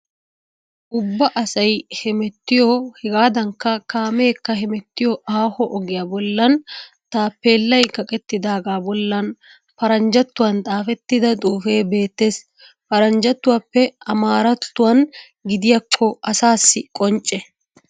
Ubba asay hemettiyo hegaadankka kaameekka hemettiyo aaho ogiya bollan taappeellay kaqettidaagaa bollan paranjjattuwan xaafettida xuufee beettees. Paranjjattuwappe amaarattuwan gidiyakko asaassi qoncce.